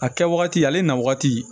A kɛ wagati ale na wagati